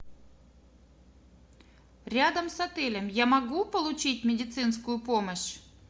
рядом с отелем я могу получить медицинскую помощь